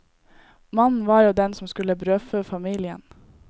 Mannen var jo den som skulle brødfø familien.